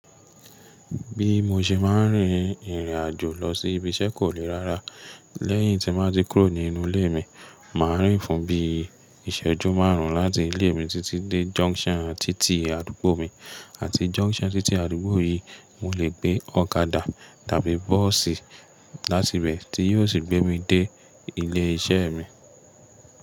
Bí mo ṣe máa ń rin ìrìnàjò lọ sí ibi iṣẹ́ kò le rára. Lẹ́yìn tí n bá tí kúrò ní inú ilé mi, màá rìn fún bí i iṣẹ́jú márùn-ún láti ilé mi títí dé junction títì àdúgbò mi, àti junction títì àdúgbò yìí, mo lè gbé ọ̀kadà tàbí bọ́ọ̀sì láti bẹ̀ tí yóò sì gbé mi dé ilé iṣẹ́ mi.